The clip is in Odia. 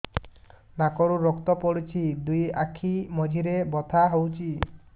ନାକରୁ ରକ୍ତ ପଡୁଛି ଦୁଇ ଆଖି ମଝିରେ ବଥା ହଉଚି